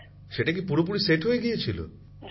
প্রধানমন্ত্রী জীঃ সেটা কি পুরোপুরি মানানো গিয়েছিল